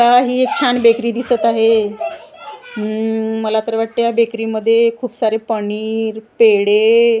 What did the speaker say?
हि एक छान बेकरी दिसत आहे हम्मम मला तर वाटते ह्या बेकारी मध्ये खुपसारे पनीर पेढे --